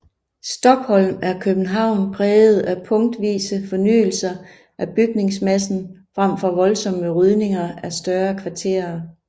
Stockholm er København præget af punktvise fornyelser af bygningsmassen frem for voldsomme rydninger af større kvarterer